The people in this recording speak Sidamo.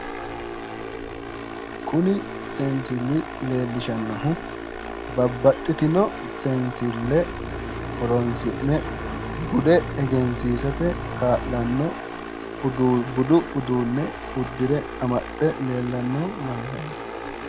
Kuni seensilli leellishannohu babbaxitino seenssille horonsi'ne bude egensiisate kaa'lanno budu uduunne uddire amaxxe leellanno mannaati.